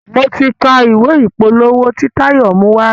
mọ tí ká ìwé ìpolówó t'in Tayo mu wá.